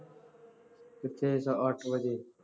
ਕਿੱਥੇ ਸਵਾ ਅੱਠ ਵਜੇ